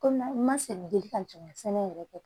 Kɔmi n ma sɛnɛ deli ka jɔn ŋa sɛnɛ yɛrɛ kɛ